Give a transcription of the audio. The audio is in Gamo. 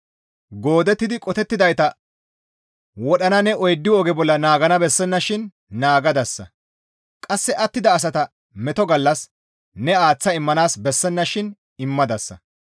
Goodettidi qotettidayta wodhana ne oyddu oge bolla naagana bessennashin naagadasa; qasse attida asata meto gallas ne aaththa immanaas bessennashin immadasa.